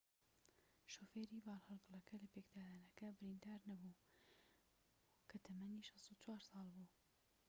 شوفێری بارهەڵگرەکە لە پێکدادانەکە بریندار نەبوو بوو کە تەمەنی 64 ساڵ بوو